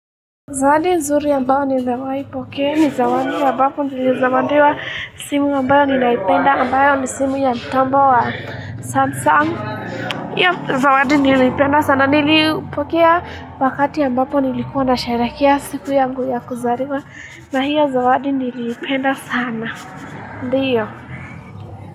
Zawadi nzuri ambayo nimewaipokea ni zawadi ambapo nilizawadiwa simu ambayo ninaipenda ambayo ni simu ya mtambo wa samsung, hio zawadi niliipenda sana niliipokea wakati ambapo nilikuwa nasherehekea siku yangu ya kuzaliwa na hiyo zawadi niliipenda sana Ndiyo.